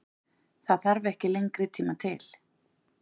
Það þarf ekki lengri tíma til?